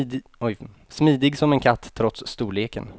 Smidig som en katt trots storleken.